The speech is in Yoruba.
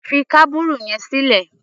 Fi kábùrù yẹn sílẹ̀!